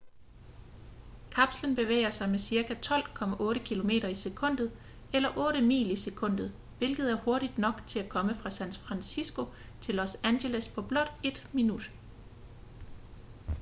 kapslen bevæger sig med cirka 12,8 km i sekundet eller 8 mil i sekundet hvilket er hurtigt nok til at komme fra san francisco til los angeles på blot ét minut